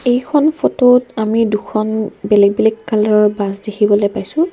এইখন ফটো ত আমি দুখন বেলেগ বেলেগ কালাৰ ৰ বাছ দেখিবলৈ পাইছোঁ।